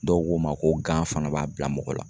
Dɔw ko ma ko gan fana b'a bila mɔgɔ la.